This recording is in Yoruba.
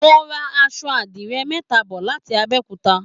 Mo ra asọ àdìrẹ mẹ́ta bọ̀ láti Abẹkuta